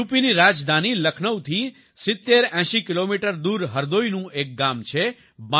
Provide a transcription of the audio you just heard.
યુપીની રાજધાની લખનૌથી ૭૦૮૦ કિલોમીટર દૂર હરદોઈનું એક ગામ છે બાંસા